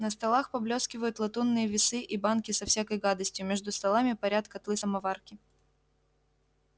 на столах поблескивают латунные весы и банки со всякой гадостью между столами парят котлы-самоварки